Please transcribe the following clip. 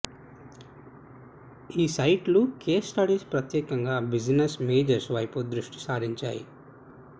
ఈ సైట్లు case studies ప్రత్యేకంగా బిజినెస్ మేజర్స్ వైపు దృష్టి సారించాయి